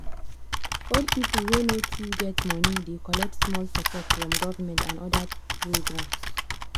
old people wey no too get money dey collect small support from government and other programs.